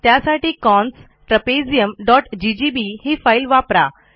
त्यासाठी cons trapeziumजीजीबी ही फाईल वापरा